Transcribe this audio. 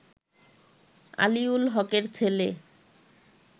আলীউল হকের ছেলে